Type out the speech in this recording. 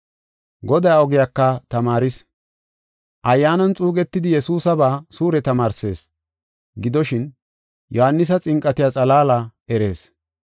Godaa ogiyaka tamaaris, ayyaanan xuugetidi Yesuusaba suure tamaarsees. Gidoshin, Yohaanisa xinqatiya xalaala erees.